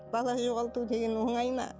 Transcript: бала жоғалту деген оңай ма